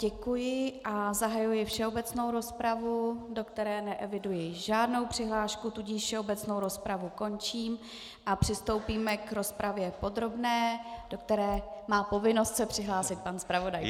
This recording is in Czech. Děkuji a zahajuji všeobecnou rozpravu, do které neeviduji žádnou přihlášku, tudíž všeobecnou rozpravu končím a přistoupíme k rozpravě podrobné, do které má povinnost se přihlásit pan zpravodaj.